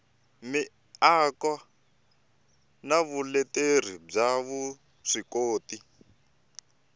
miako na vuleteri bya vuswikoti